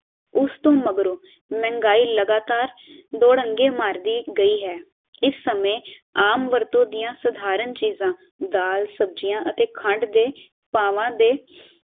ਉਸ ਤੋਂ ਮਗਰੋਂ ਮਹਿੰਗਾਈ ਲਗਾਤਾਰ ਦੁੜੰਗੇ ਮਾਰਦੀ ਗਈ ਹੈ ਇਸ ਸਮੇਂ ਆਮ ਵਰਤੋਂ ਦੀਆ ਸਧਾਰਨ ਚੀਜਾਂ ਦਾਲ, ਸਬਜ਼ੀਆਂ ਅਤੇ ਕੰਡ ਦੇ ਪਾਵਾਂ ਦੇ